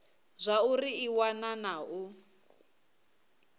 zwauri i wana na u